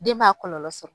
Den b'a kɔlɔlɔ sɔrɔ